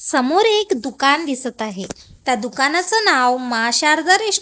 समोर एक दुकानं दिसतं आहे. त्या दुकानाचं नाव मा शारदा--